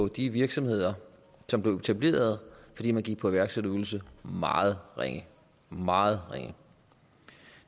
de virksomheder som blev etableret fordi man gik på iværksætterydelse meget ringe meget ringe